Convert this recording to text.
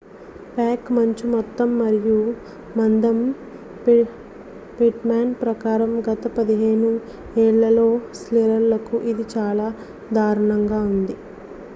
pack మంచు మొత్తం మరియు మందం పిట్మాన్ ప్రకారం గత 15 ఏళ్లలో సీలర్లకు ఇది చాలా దారుణంగా ఉంది